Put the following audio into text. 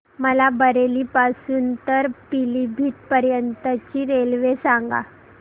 मला बरेली पासून तर पीलीभीत पर्यंत ची रेल्वे सांगा